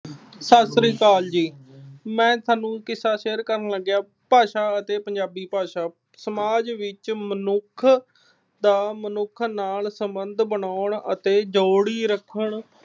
ਸਤਿ ਸ੍ਰੀ ਅਕਾਲ ਜੀ। ਮੈਂ ਤੁਹਾਡੇ ਨਾਲ ਕਿੱਸਾ share ਕਰਨ ਲੱਗਿਆਂ। ਭਾਸ਼ਾ ਅਤੇ ਪੰਜਾਬੀ ਭਾਸ਼ਾ। ਸਮਾਜ ਵਿੱਚ ਮਨੁੱਖ ਦਾ ਮਨੁੱਖ ਨਾਲ ਸਬੰਧ ਬਣਾਉਣ ਅਤੇ ਰੱਖਣ